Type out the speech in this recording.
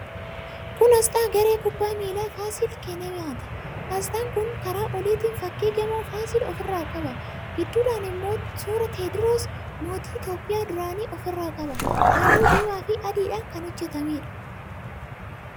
Kun aasxaa Garee Kubbaa Miilaa Faasil Kenemaati. Aasxaan kun karaa oliitiin fakkii gamoo Faasil ofirraa qaba. Gidduudhaan immoo suuraa Tewoodiroos, mootii Itiyoophiyaa duraanii ofirraa qaba. Halluu diimaafi adiidhaan kan hojjetameedha.